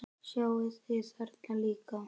Sjáið þið þarna líka?